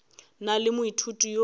na le moithuti yo a